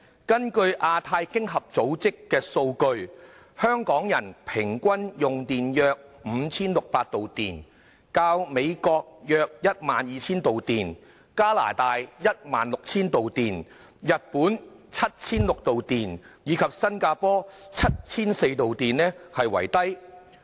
根據亞洲太平洋經濟合作組織的數據，香港人均用電約 5,600 度，較美國、加拿大、日本及新加坡為低。